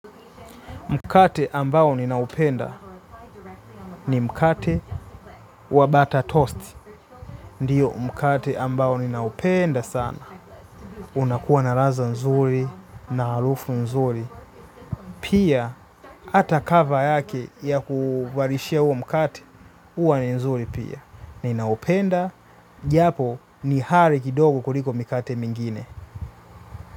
Mkate ambao ninaupenda ni mkate wa butter toast. Ndiyo mkate ambao ninaupenda sana. Unakuwa na radha nzuri, na harufu nzuri. Pia, hata cover yake ya kuvalishia huo mkate, huwa ni nzuri pia. Ninaupenda, japo ni ghali kidogo kuliko mikate mingine.